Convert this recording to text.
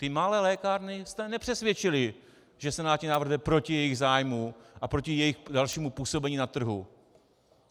Ty malé lékárny jste nepřesvědčili, že senátní návrh jde proti jejich zájmu a proti jejich dalšímu působení na trhu.